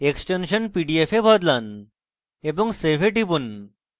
extension pdf এ বদলান এবং save এ টিপুন